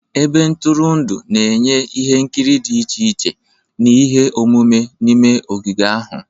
Ebe ntụrụndụ na-enye ihe nkiri dị iche iche na ihe omume n'ime ogige ha.